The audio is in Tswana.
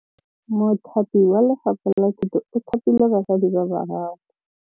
Mothapi wa Lefapha la Thutô o thapile basadi ba ba raro.